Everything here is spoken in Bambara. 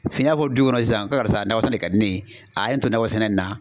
fɔ du kɔnɔ sisan ko karisa nakɔ sɛnɛ de ka di ne ye a' ye ne to nakɔ sɛnɛ in na.